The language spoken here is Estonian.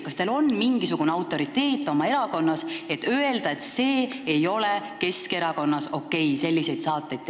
Kas teil on mingisugune autoriteet oma erakonnas, et öelda, et selliste saadete tellimine ei ole Keskerakonnas okei?